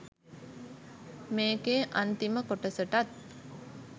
මේකේ අන්තිම කොටසටත්